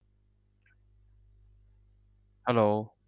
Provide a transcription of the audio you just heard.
Hello